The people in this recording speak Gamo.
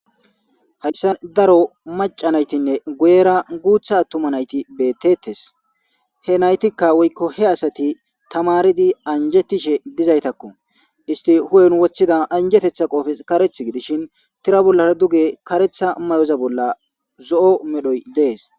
Hayssa daro maca naytinne guyera guutha attuma nayti beettettes he naytikka woykko he asati tamaridi anjettishe dizaytakko isti hu7en wothida anjetetha qoofe kareth gidishin tira bollara duge karetha may7oza bolla zo7o medhoy dees.